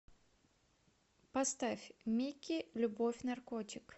поставь микки любовь наркотик